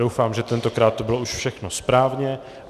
Doufám, že tentokrát to už bylo všechno správně.